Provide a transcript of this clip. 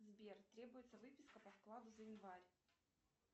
сбер требуется выписка по вкладу за январь